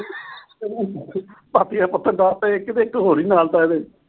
ਪਾਥੀਆਂ ਪਥਣ ਵਾਸਤੇ ਇੱਕ ਹੋਰ ਈ ਨਾਲ ਲਾਤਾ ਇਹਦੇ।